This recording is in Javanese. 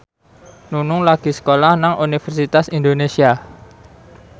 Nunung lagi sekolah nang Universitas Indonesia